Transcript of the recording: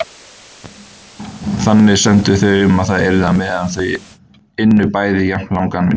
Þannig sömdu þau um að það yrði á meðan þau ynnu bæði jafnlangan vinnudag.